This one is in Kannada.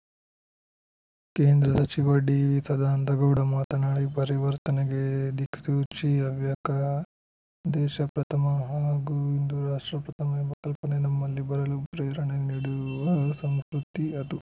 ಕೇಂದ್ರ ಸಚಿವ ಡಿವಿ ಸದಾನಂದಗೌಡ ಮಾತನಾಡಿ ಪರಿವರ್ತನೆಗೆ ದಿಕ್ಸೂಚಿ ಹವ್ಯಕ ದೇಶ ಪ್ರಥಮ ಹಾಗೂ ಹಿಂದೂ ರಾಷ್ಟ್ರ ಪ್ರಥಮ ಎಂಬ ಕಲ್ಪನೆ ನಮ್ಮಲ್ಲಿ ಬರಲು ಪ್ರೇರಣೆ ನೀಡುವ ಸಂಸ್ಕೃತಿ ಅದು